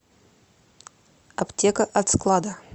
аптека от склада